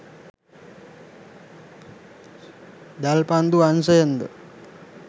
දැල්පන්දු අංශයෙන් ද